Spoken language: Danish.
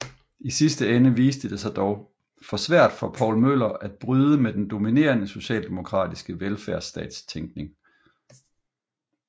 I sidste ende viste det sig dog for svært for Poul Møller at bryde med den dominerende socialdemokratiske velfærdsstatstænkning